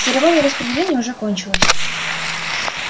церемония распределения уже кончилась